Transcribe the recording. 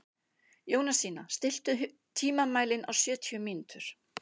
Jónasína, stilltu tímamælinn á sjötíu mínútur.